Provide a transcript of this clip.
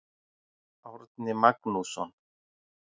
Árni Magnússon.